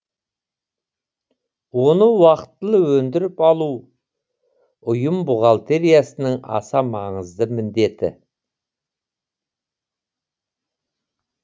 оны уақтылы өндіріп алу ұйым бухгалтериясының аса маңызды міндеті